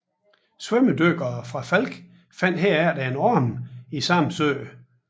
Svømmedykkere fra Falck fandt herefter en arm i samme sø